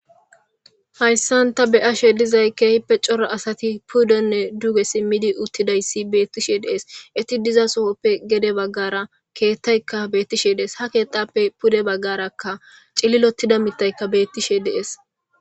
hayssan ta beyashe dizay keehippe coro asati pudenne duge simmidi uttidayssi beettishe dees iti diza sofoppe gede baggara keettaykka beettishe dees ha keexappe pude baggarakka cillilotida mitaykka beettishe dees